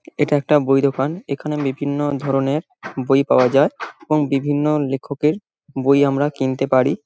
এটা একটা বই দোকান। এখানে বিভিন্ন ধরনের বই পাওয়া যায় এবং বিভিন্ন লেখকের বই আমরা কিনতে পারি।